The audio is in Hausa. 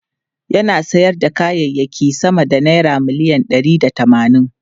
Yana sayar da kayayyaki sama da naira miliyan ɗari da tamanin.